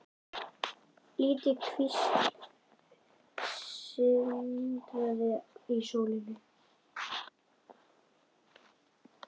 Lítil kvísl sindraði í sólinni.